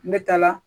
N bɛ taa la